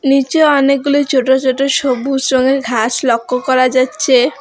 নীচে অনেকগুলি ছোট ছোট সবুজ রঙের ঘাস লক্য করা যাচ্চে।